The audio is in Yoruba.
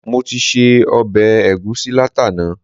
Mo ti se ọbẹ̀ ẹ̀gusí látàná